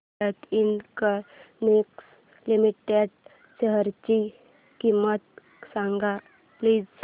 Bharat electronics limited शेअरची किंमत सांगा प्लीज